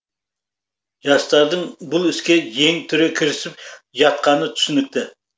жастардың бұл іске жең түре кірісіп жатқаны түсінікті